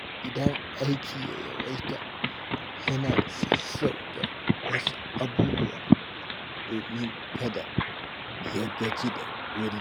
Idan aiki ya yawaita, yana sassauta wasu abubuwa domin kada ya gaji da wuri.